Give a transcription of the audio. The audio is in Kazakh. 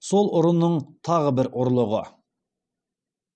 сол ұрының тағы бір ұрлығы